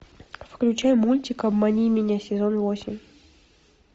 включай мультик обмани меня сезон восемь